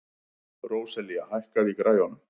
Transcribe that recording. Róselía, hækkaðu í græjunum.